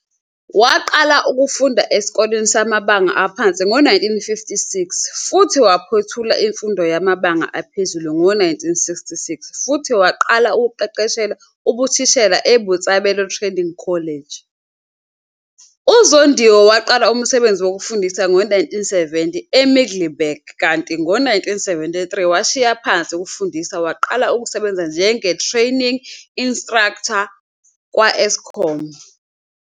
Waqala ukufunda esikoleni samabanga aphansi ngo-1956 futhi waphothula imfundo yamabanga aphezulu ngo-1966 futhi waqala ukuqeqeshela ubuthisha eBotshabelo Training College. UZondiwe waqala umsebenzi wokufundisa ngo-1970 eMiddelburg kanti ngo-1973 washiya phansi ukufundisa waqala ukusebenza njenge-Training Instructor kwa-Eskom.